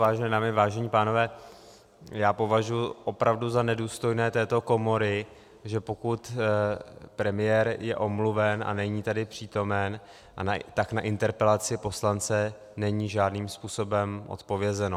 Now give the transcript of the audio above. Vážené dámy, vážení pánové, já považuji opravdu za nedůstojné této komory, že pokud premiér je omluven a není tady přítomen, tak na interpelaci poslance není žádným způsobem odpovězeno.